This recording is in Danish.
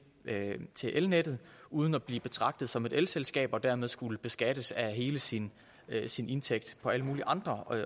til elnettet uden at blive betragtet som et elselskab og dermed skulle beskattes af hele sin sin indtægt på alle mulige andre